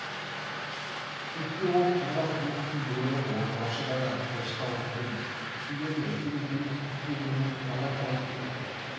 төксе ол сарбаз ұлықтың бұйрығын орындаушы ғана тыныштал күнім күйзелме сен екеуміз түсіне бермейтін талай-талай сұмдық